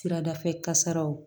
Siradafɛ kasaraw